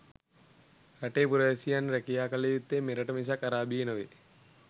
රටේ පුරවැසියන් රැකියා කල යුත්තේ මෙරට මිසක් අරාබියේ නොවේ.